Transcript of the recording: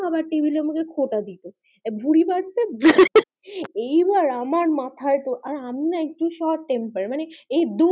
খাবার টেবিলে আমাকে খোটা দিতে ভূরি বাড়ছে হা হা হা এই বার আমার মাথায় তো আর আমি না ভীষণ টেম্মপার